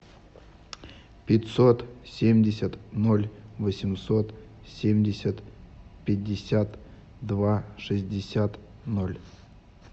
пятьсот семьдесят ноль восемьсот семьдесят пятьдесят два шестьдесят ноль